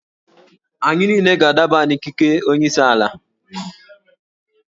Anyị niile ga-adaba n'ikeke nke onye isi ala